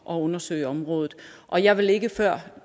og undersøge området og jeg vil ikke før